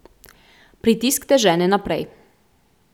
Pritisk te žene naprej.